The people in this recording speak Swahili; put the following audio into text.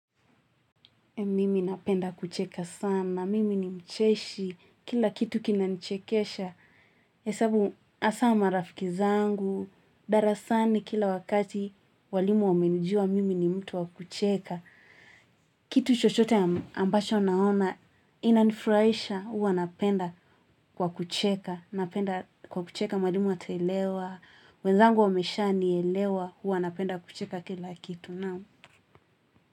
Mimi napenda kucheka sana. Mimi ni mcheshi. Kila kitu kinanichekesha. Hasa marafiki zangu. Darasani kila wakati walimu wamenijua mimi ni mtu wakucheka. Kitu chochote ambacho naona. Inanifurahisha huwa napenda kwa kucheka. Napenda kwa kucheka mwalimu ataelewa. Wenzangu wameshanielewa huwa napenda kucheka kila kitu nao.